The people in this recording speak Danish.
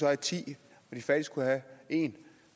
have ti og de fattigste kunne have én